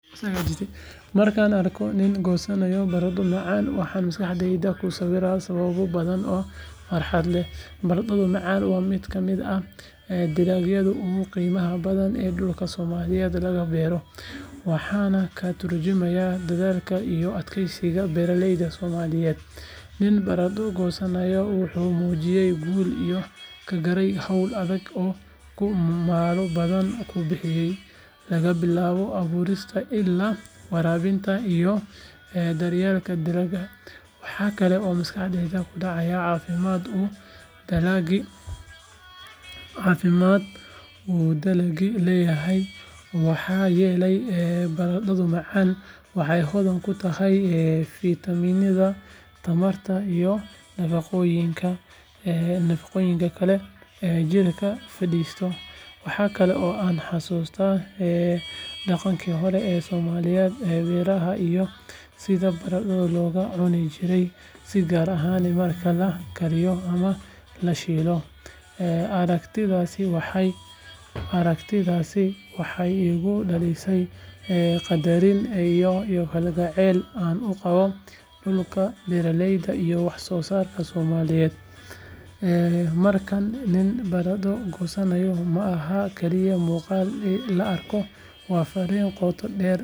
Markaan arko nin goosanaya barandho macaan, waxaan maskaxdayda ku sawiraa sababo badan oo farxad leh. Barandhada macaan waa mid ka mid ah dalagyada ugu qiimaha badan ee dhulka Soomaaliyeed laga beero, waxayna ka tarjumaysaa dadaalka iyo adkeysiga beeraleyda Soomaaliyeed. Nin barandho goosanaya wuxuu muujinayaa guul uu ka gaaray hawl adag oo uu maalmo badan ku bixiyay, laga bilaabo abuurista illaa waraabinta iyo daryeelka dalagga. Waxaa kale oo maskaxdayda ku dhacaya caafimaadka uu dalagani leeyahay, maxaa yeelay barandhada macaan waxay hodan ku tahay fiitamiinada, tamarta, iyo nafaqooyinka kale ee jirka faa’iideeya. Waxa kale oo aan xusuustaa dhaqankii hore ee soomaalida ee beeraha iyo sida barandhada loogu cuni jiray si gaar ah marka la kariyo ama la shiilo. Aragtidaasi waxay igu dhalisaa qadarin iyo kalgacayl aan u qabo dhulka, beeraleyda, iyo wax-soosaarka Soomaaliyeed. Markaa, nin barandho goosanaya ma aha keliya muuqaal la arko, waa farriin qoto dheer.